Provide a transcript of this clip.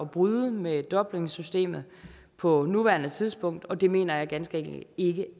bryde med dublinsystemet på nuværende tidspunkt og det mener jeg ganske enkelt ikke